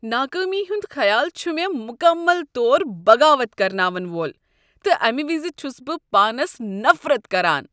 ناکٲمی ہند خیال چھ مےٚمکمل طور بغاوت کرناون وول تہٕ امہ وِز چھُس بہ پانس نفرت کران۔